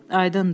Aydındır?